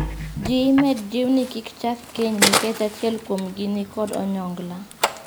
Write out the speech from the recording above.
Jii imed jiw ni kik chak keny nikech achiel kuomgi ni kod onyongla.